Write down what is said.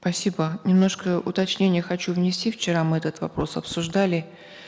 спасибо немножко уточнение хочу внести вчера мы этот вопрос обсуждали